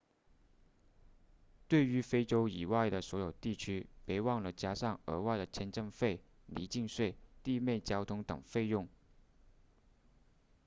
对于非洲以外的所有地区别忘了加上额外的签证费离境税地面交通等费用